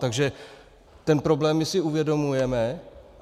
Takže ten problém my si uvědomujeme.